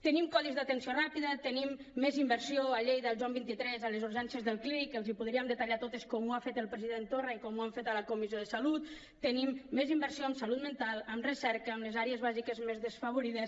tenim codis d’atenció ràpida tenim més inversió a lleida al joan xxiii a les urgències del clínic que els les podríem detallar totes com ho ha fet el president torra i com ho hem fet a la comissió de salut tenim més inversió en salut mental en recerca en les àrees bàsiques més desfavorides